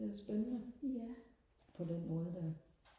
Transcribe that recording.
det er spændende på den måde der